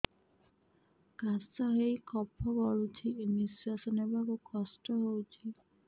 କାଶ ହେଇ କଫ ଗଳୁଛି ନିଶ୍ୱାସ ନେବାକୁ କଷ୍ଟ ହଉଛି